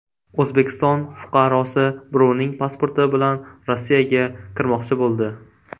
O‘zbekiston fuqarosi birovning pasporti bilan Rossiyaga kirmoqchi bo‘ldi.